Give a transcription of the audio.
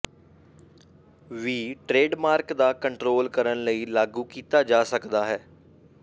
ਵੀ trademark ਦਾ control ਕਰਨ ਲਈ ਲਾਗੂ ਕੀਤਾ ਜਾ ਸਕਦਾ ਹੈ